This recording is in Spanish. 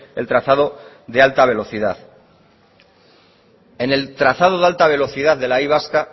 el trazado de alta velocidad en el trazado de alta velocidad de la y vasca